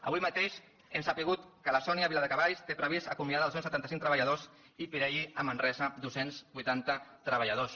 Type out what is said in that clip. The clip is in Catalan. avui mateix hem sabut que la sony a viladecavalls té previst acomiadar dos cents i setanta cinc treballadors i pirelli a manresa dos cents i vuitanta treballadors